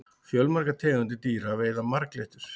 fjölmargar tegundir dýra veiða marglyttur